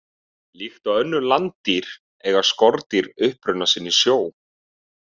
Líkt og önnur landdýr eiga skordýr uppruna sinn í sjó.